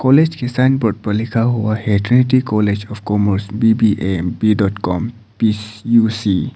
College के sign board पर लिखा हुआ है Trinity College of Commerce B B A B dot com P U C.